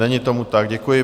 Není tomu tak, děkuji.